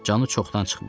Canı çoxdan çıxmışdı.